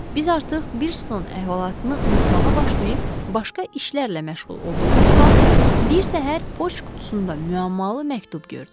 Biz artıq Boston əhvalatını unutmağa başlayıb başqa işlərlə məşğul olduğumuz vaxt bir səhər poçt qutusunda müəmmalı məktub gördük.